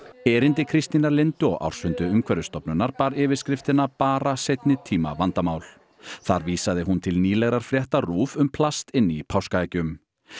erindi Kristínar Lindu á ársfundi Umhverfisstofnunar bar yfirskriftina bara seinni tíma vandamál þar vísaði hún til nýlegrar fréttar RÚV um plast inni í páskaeggjum